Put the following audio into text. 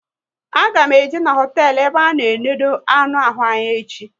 A ga m eje n'hotelu ebe a na enode anụ ahụ anya echi